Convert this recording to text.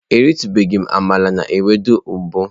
Eritubeghi m amala na ewedu mbu.